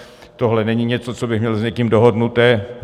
Tohle není něco, co bych měl s někým dohodnuté.